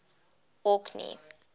orkney